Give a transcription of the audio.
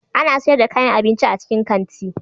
Ana sayar da kayan abinci a cikin kanti.